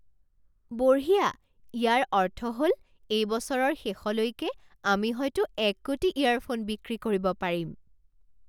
বঢ়িয়া! ইয়াৰ অৰ্থ হল এই বছৰৰ শেষলৈকে আমি হয়তো এক কোটি ইয়াৰফোন বিক্ৰী কৰিব পাৰিম!